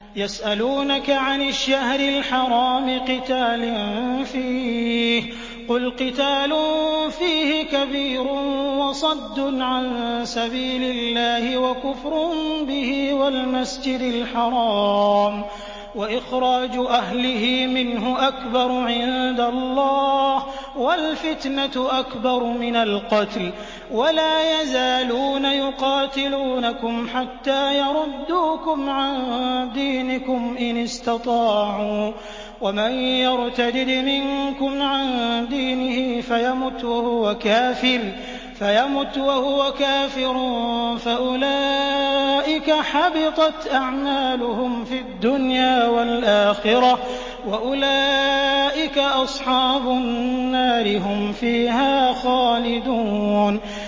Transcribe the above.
يَسْأَلُونَكَ عَنِ الشَّهْرِ الْحَرَامِ قِتَالٍ فِيهِ ۖ قُلْ قِتَالٌ فِيهِ كَبِيرٌ ۖ وَصَدٌّ عَن سَبِيلِ اللَّهِ وَكُفْرٌ بِهِ وَالْمَسْجِدِ الْحَرَامِ وَإِخْرَاجُ أَهْلِهِ مِنْهُ أَكْبَرُ عِندَ اللَّهِ ۚ وَالْفِتْنَةُ أَكْبَرُ مِنَ الْقَتْلِ ۗ وَلَا يَزَالُونَ يُقَاتِلُونَكُمْ حَتَّىٰ يَرُدُّوكُمْ عَن دِينِكُمْ إِنِ اسْتَطَاعُوا ۚ وَمَن يَرْتَدِدْ مِنكُمْ عَن دِينِهِ فَيَمُتْ وَهُوَ كَافِرٌ فَأُولَٰئِكَ حَبِطَتْ أَعْمَالُهُمْ فِي الدُّنْيَا وَالْآخِرَةِ ۖ وَأُولَٰئِكَ أَصْحَابُ النَّارِ ۖ هُمْ فِيهَا خَالِدُونَ